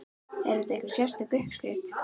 Er þetta einhver sérstök uppskrift?